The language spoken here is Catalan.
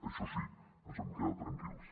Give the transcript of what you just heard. això sí ens hem quedat tranquils